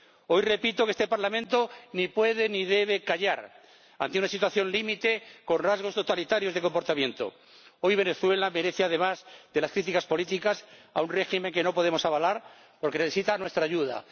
Hoy repito que este Parlamento ni puede ni debe callar ante una situación límite con rasgos totalitarios de comportamiento. Hoy Venezuela merece además las críticas políticas a un régimen que no podemos avalar porque necesita nuestra ayuda.